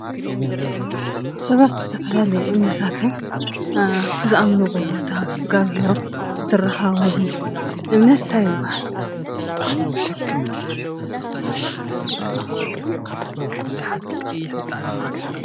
ሰባት ዝተፈላለየ እምነታቶም ኣብቲ ዝኣምንዎ ቦታ ምስ እግዚኣብሔሮም ዝራኸብሉ እምነት እንታይ ይባሃል?